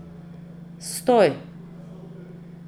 Stoj!